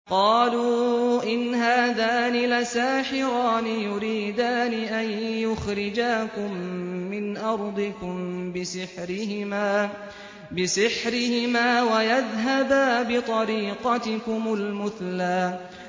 قَالُوا إِنْ هَٰذَانِ لَسَاحِرَانِ يُرِيدَانِ أَن يُخْرِجَاكُم مِّنْ أَرْضِكُم بِسِحْرِهِمَا وَيَذْهَبَا بِطَرِيقَتِكُمُ الْمُثْلَىٰ